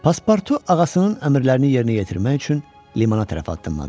Passportu ağasının əmrlərini yerinə yetirmək üçün limana tərəf addımladı.